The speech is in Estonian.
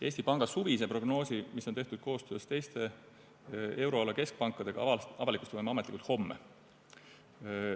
Eesti Panga suvise prognoosi, mis on tehtud koostöös teiste euroala keskpankadega, avalikustame me ametlikult homme.